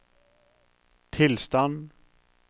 tilstand